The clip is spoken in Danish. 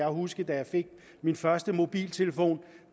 huske da jeg fik min første mobiltelefon og